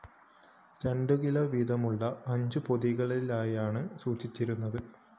രണ്ടുകിലോ വീതമുള്ള അഞ്ചു പൊതികളിലായാണ് സൂക്ഷിച്ചിരുന്നത്